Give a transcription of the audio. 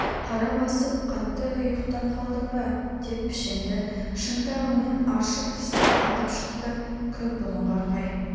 қара басып қатты ұйықтап қалдың ба деп пішенді шынтағымен аршып тысқа атып шықты күн бұлыңғыр қай